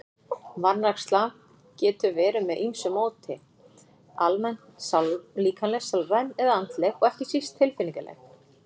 Vanræksla getur verið með ýmsu móti, almenn, líkamleg, sálræn eða andleg og ekki síst tilfinningaleg.